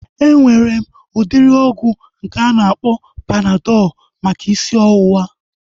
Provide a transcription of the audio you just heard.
Enwere m udịri ọgwụ nke a na-akpọ Panadọl maka isi ọwụwa